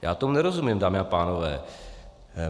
Já tomu nerozumím, dámy a pánové.